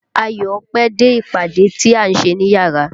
Ayọ̀ pẹ́ dé ìpàdé tí a ṣe níyárà.